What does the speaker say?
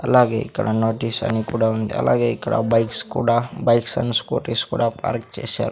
అలాగే ఇక్కడ నోటీస్ అని కూడా ఉంది అలాగే ఇక్కడ బైక్స్ కుడా బైక్స్ అండ్ స్కూటీస్ కుడా పార్క్ చేసారు.